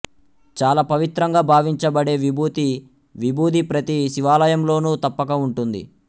చాలా పవిత్రంగా భావించబడే విభూతి విభూది ప్రతి శివాలయంలోనూ తప్పక ఉంటుంది